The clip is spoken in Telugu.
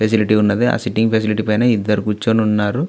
ఫెసిలిటీ ఉన్నది ఆ సిట్టింగ్ ఫెసిలిటీ పైన ఇద్దరు కూర్చుని ఉన్నారు.